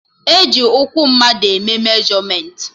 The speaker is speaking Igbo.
E ji ụkwụ mmadụ eme meshọmentị